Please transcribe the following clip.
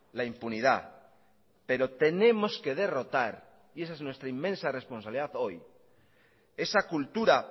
la impunidad pero tenemos que derrotar y esa es nuestra inmensa responsabilidad hoy esa cultura